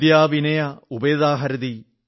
വിദ്യാ വിനയ ഉപേതാ ഹരതി